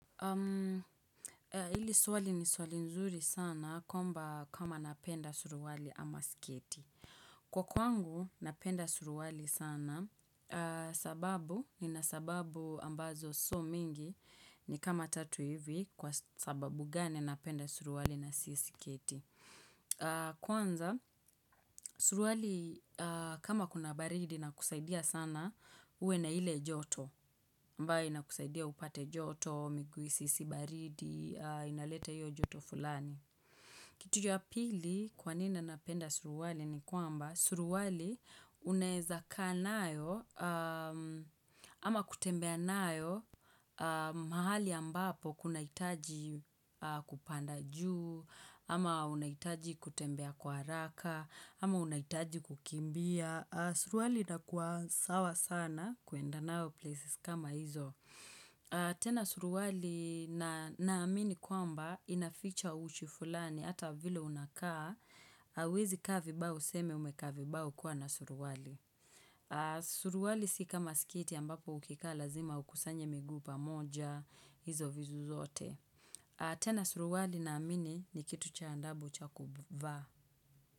Hili swali ni swali nzuri sana kwamba kama napenda suruali ama sketi. Kwa kwangu napenda suruali sana sababu nina sababu ambazo sio mingi ni kama tatu hivi kwa sababu gani napenda suruali na si sketi. Kwanza suruali kama kuna baridi inakusaidia sana uwe na ile joto. Ambaye inakusaidia upate joto, miguu isihisi baridi, inaleta iyo joto fulani. Kitu ya pili kwanini napenda suruali ni kwamba suruali uneza kaa nayo ama kutembea nayo mahali ambapo kunahitaji kupanda juu, ama unahitaji kutembea kwa haraka, ama unahitaji kukimbia. Suruali inakuwa sawa sana kuenda nayo maeneo kama hayo. Tena suruali naamini kwamba inaficha uchi fulani hata vile unakaa. Huwezi kaa vibaya useme umekaa vibaya ukiwa na suruali. Suruali sio kama sketi ambapo ukikaa lazima ukusanye miguu pamoja hizo vitu zote. Tena suruali naamini ni kitu cha adabu cha kuvaa.